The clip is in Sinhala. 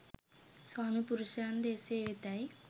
ස්වාමීපුරුෂයන් ද එසේ වෙතැයි